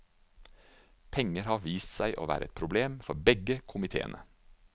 Penger har vist seg å være et problem for begge komiteene.